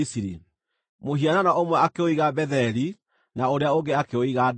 Mũhianano ũmwe akĩũiga Betheli, na ũrĩa ũngĩ akĩũiga Dani.